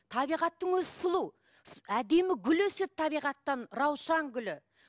табиғаттың өзі сұлу әдемі гүл өседі табиғаттан раушан гүлі